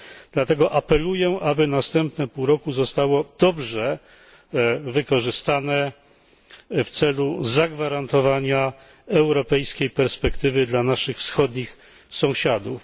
Dlatego apeluję, aby następne pół roku zostało dobrze wykorzystane w celu zagwarantowania europejskiej perspektywy dla naszych wschodnich sąsiadów.